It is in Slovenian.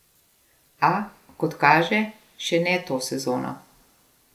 A, kot kaže, še ne to sezono.